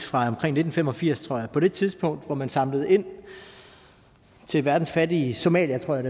fra omkring nitten fem og firs tror jeg på det tidspunkt hvor man samlede ind til verdens fattige somaliere tror jeg